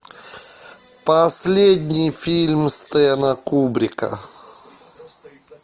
последний фильм стэна кубрика